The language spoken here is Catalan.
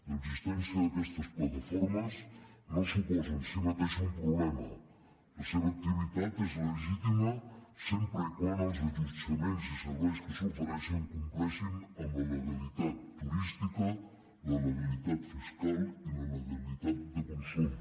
l’existència d’aquestes plataformes no suposa en si mateixa un problema la seva activitat és legítima sempre que els allotjaments i serveis que s’ofereixen compleixin amb la legalitat turística la legalitat fiscal i la legalitat de consum